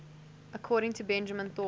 according to benjamin thorpe